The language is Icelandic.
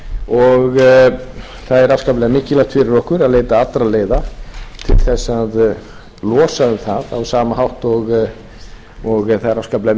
og það er afskaplega mikilvægt fyrir okkur að leita allra leiða til þess að losa um það á sama hátt og það er afskaplega